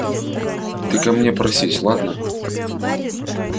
ты ко мне просись ладно